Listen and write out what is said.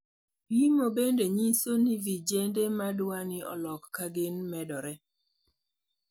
Pimo bende nyiso ni vijende madwani olok kagin medore.